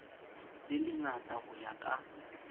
le lengata ho ya ka